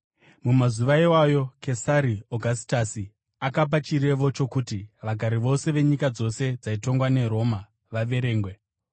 Mumazuva iwayo Kesari Ogasitasi akapa chirevo chokuti vagari vose venyika dzose dzaitongwa neRoma vaverengwe.